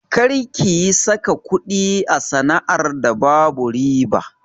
Kar kiyi saka kuɗi a sana'ar da babu riba!